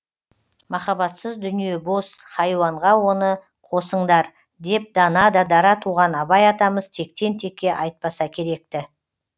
махаббатсыз дүние бос хайуанға оны қосыңдар деп дана да дара туған абай атамыз тектен текке айтпаса керек ті